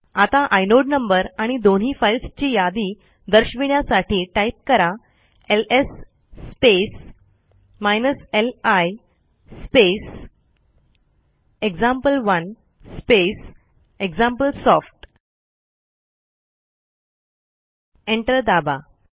आता inode number आणि दोन्ही फाईल्सची यादी दर्शविण्यासाठी टाईप करा LS space li space example one space example soft enter दाबा